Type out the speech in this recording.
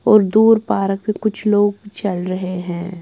और दूर पार्क पे कुछ लोग चल रहे हैं।